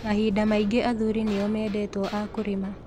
Mahinda maingĩ athuri nĩ o meendetwo a kũrĩma